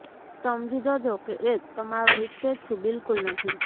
સમજી જજો કે એ તમારો હિતેચ્છુ બિલકુલ નથી